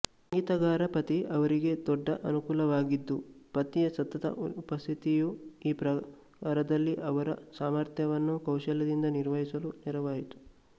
ಸಂಗೀತಗಾರ ಪತಿ ಅವರಿಗೆ ದೊಡ್ಡ ಅನುಕೂಲವಾಗಿದ್ದು ಪತಿಯ ಸತತ ಉಪಸ್ಥಿತಿಯು ಈ ಪ್ರಕಾರದಲ್ಲಿ ಅವರ ಸಾಮರ್ಥ್ಯವನ್ನು ಕೌಶಲ್ಯದಿಂದ ನಿರ್ವಹಿಸಲು ನೆರವಾಯಿತು